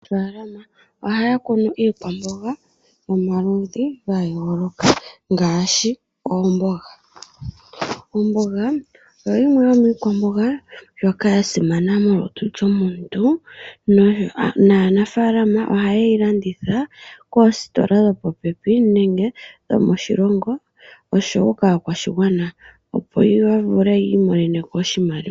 Aanafalama ohaya kunu iikwambonga yomaludhi ga yooloka ngaashi oombonga. Ombonga oyo yimwe yomiikwambonga ndjoka ya simana molutu lwomuntu naanafalama ohaye yi landitha koositola dhopopepi nenge dhomoshilongo osho woo kaakwashigwana opo ya vule yi imonene oshimaliwa.